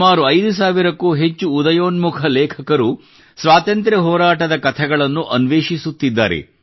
ಸುಮಾರು 5000 ಕ್ಕೂ ಅಧಿಕ ಉದಯೋನ್ಮುಖ ಲೇಖಕರು ಸ್ವಾತಂತ್ರ್ಯ ಹೋರಾಟದ ಕಥೆಗಳನ್ನು ಅನ್ವೇಷಿಸುತ್ತಿದ್ದಾರೆ